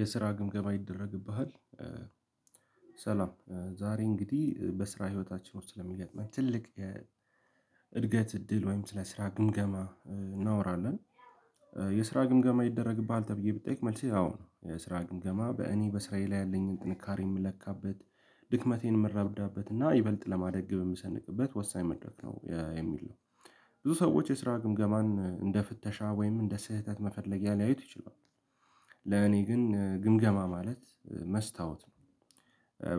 የስራ ግምገማ ይደረግብሃል። ሰላም ዛሬ እንግዲህ በስራ ህይወታችን ውስጥ ስለሚገጥመኝ ትልቅ የእድገት እድል ወይም ስለ ስራ ግምገማ እናወራለን። የስራ ግምገማ ይደረግብሃል ተብዬ ብጠያቅ መልስህ አዎ የስራ ግምገማ በእኔ በስራዬ ላይ ያለኝን ጥንካሬ የምለካበት ድክመቴን የምረዳበት እና ይበልጥ ለማደግ ግብ የምሰንቅበት ወሳኝ መድረክ ነው የሚል ነው። ብዙ ሰዎች የስራ ግምገማን እንደ ፍተሻ ወይም እንደ ስህተት መፈለጊያ ሊያዩት ይችላሉ። ለኔ ግን ግምገማ ማለት መስታወት ነው።